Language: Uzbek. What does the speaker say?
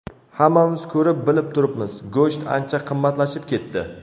Hammamiz ko‘rib-bilib turibmiz, go‘sht ancha qimmatlashib ketdi.